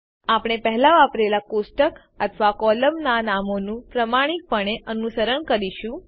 આપણે પહેલા વાપરેલાં કોષ્ટક અથવા કોલમનાં નામોનું પ્રામાણિકપણે અનુસરણ કરીશું